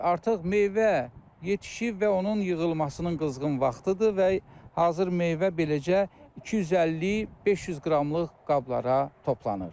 Artıq meyvə yetişib və onun yığılmasının qızğın vaxtıdır və hazır meyvə beləcə 250-500 qramlıq qablara toplanır.